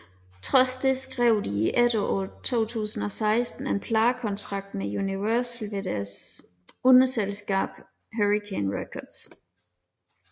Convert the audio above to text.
Trods det skrev de i efteråret 2016 en pladekontrakt med Universal ved deres underselskab Hurricane Records